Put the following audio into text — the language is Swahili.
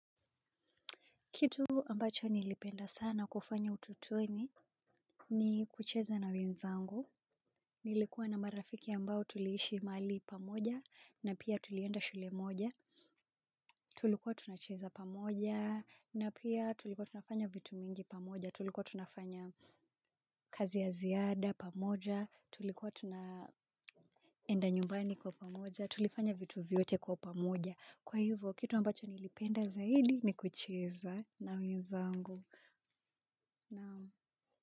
Kitu ambacho nilipenda sana kufanya ututueni ni kucheza na wenzangu. Nilikuwa na marafiki ambao tuliishi mahali pamoja na pia tulienda shule moja. Tulikuwa tunacheza pamoja na pia tulikuwa tunafanya vitu mingi pamoja. Tulikuwa tunafanya kazi ya ziada pamoja. Tulikuwa tunaenda nyumbani kwa pamoja. Tulifanya vitu vyote kwa pamoja. Kwa hivyo, kitu ambacho nilipenda zaidi ni kucheza na wenzangu. Naam.